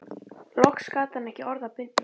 Loks gat hann ekki orða bundist